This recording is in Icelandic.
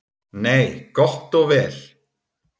Nei, gott og vel.